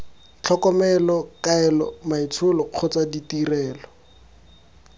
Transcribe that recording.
tlhokomelo kaelo maitsholo kgotsa ditirelo